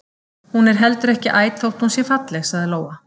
Hún er heldur ekki æt þótt hún sé falleg, sagði Lóa.